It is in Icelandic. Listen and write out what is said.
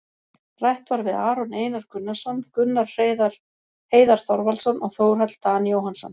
Rætt var við Aron Einar Gunnarsson, Gunnar Heiðar Þorvaldsson og Þórhall Dan Jóhannsson,